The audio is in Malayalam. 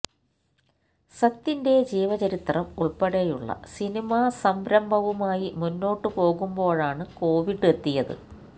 സത്യന്റെ ജീവചരിത്രം ഉൾപ്പെടെയുള്ള സിനിമാ സംരഭവവുമായി മുമ്പോട്ട് പോകുമ്പോഴാണ് കോവിഡ് എത്തിയത്